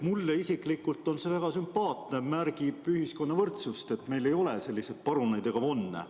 Mulle isiklikult on see väga sümpaatne, see märgib ühiskonna võrdsust, seda, et meil ei ole selliseid paruneid ega von'e.